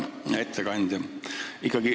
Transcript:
Hea ettekandja!